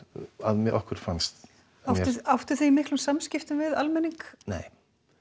að okkur fannst áttuð þið í miklum samskiptum við almenning nei